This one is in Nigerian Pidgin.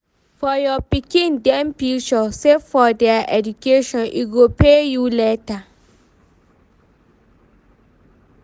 For your pikin dem future, save for their education, e go pay you later.